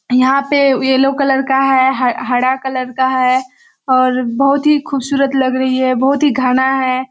यहाँ पे yellow colour का है ह हरा कलर का है और बहोत ही खूबसूरत लग रही है बहोत ही घाना है।